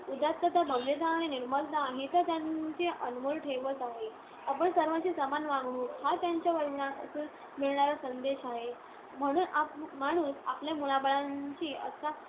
उदात्तता, भव्यता आणि निर्मलता ही तर त्यांची अनमोल ठेवच आहे. पण सर्वांशी समान वागणूक हा त्यांच्या जीवनातून मिळणारा संदेश आहे. म्हणून माणूस आपल्या मुलाबाळांशी असा